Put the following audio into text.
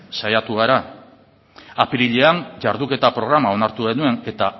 saiatu gara apirilean jarduketa programa onartu genuen eta